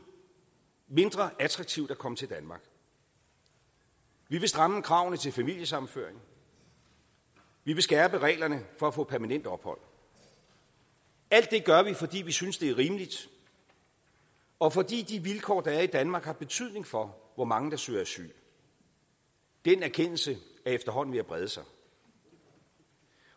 mindre attraktivt at komme til danmark vi vil stramme kravene til familiesammenføring og vi vil skærpe reglerne for at få permanent ophold alt det gør vi fordi vi synes det er rimeligt og fordi de vilkår der er i danmark har betydning for hvor mange der søger asyl den erkendelse er efterhånden ved at brede sig